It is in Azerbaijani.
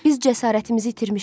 Biz cəsarətimizi itirmişik.